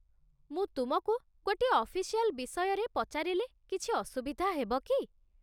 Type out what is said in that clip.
ମୁଁ ତୁମକୁ ଗୋଟିଏ ଅଫିସିଆଲ୍ ବିଷୟରେ ପଚାରିଲେ କିଛି ଅସୁବିଧା ହେବ କି?